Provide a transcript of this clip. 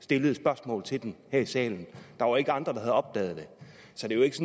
stillede spørgsmål til den her i salen der var ikke andre der havde opdaget det så det er jo ikke